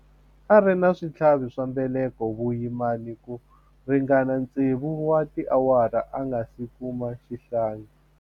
A ri na switlhavi swa mbeleko vuyimani ku ringana tsevu wa tiawara a nga si kuma xihlangi.